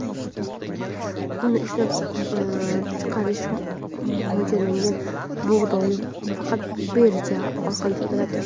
Un ishlab chiqarishga mo‘ljallanmagan bug‘doy faqat birja orqali sotiladi.